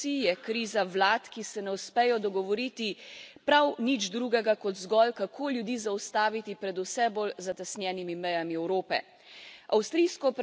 To je kriza institucij, je kriza vlad, ki se ne uspejo dogovoriti prav nič drugega kot zgolj, kako ljudi zaustaviti pred vse bolj zatesnjenimi mejami Evrope.